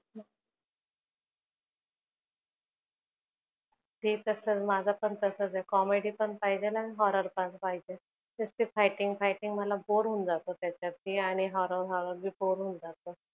ते तस माझ पण तसच आहे comedy पण पाहिजे आणि horror पण पाहिजे नुस्त fighting fighting मला bore होऊन जात त्याच्यात आणि horror horror पण bor होऊन जात.